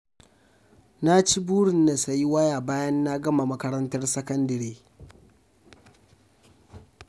Na ci burin na sayi waya bayan na gama makarantar sakandare